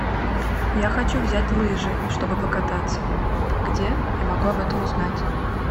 я хочу взять лыжи чтобы покататься где я могу об этом узнать